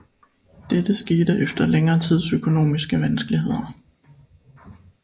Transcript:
Dette skete efter længere tids økonomiske vanskeligheder